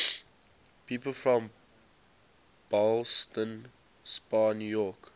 people from ballston spa new york